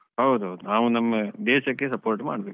ಹೌದು ಹೌದು. ನಾವು ನಮ್ಮ ದೇಶಕ್ಕೆ support ಮಾಡ್ಬೇಕು.